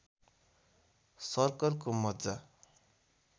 सर्कलको मज्जा